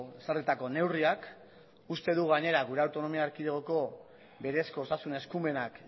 ezarritako neurriak uste dugu gainera gure autonomia erkidegoko berezko osasun eskumenak